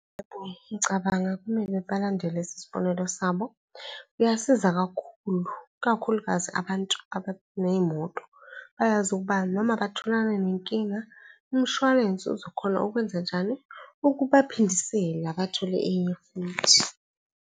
Yebo, ngicabanga kumele balandele lesisibonelo sabo. Kuyasiza kakhulu, ikakhulukazi abantu abaney'moto bayazi ukuba noma batholana nenkinga, umshwalense uzokhona ukwenzanjani, ukubaphindisela bathole enye futhi.